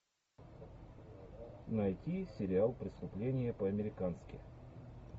найти сериал преступление по американски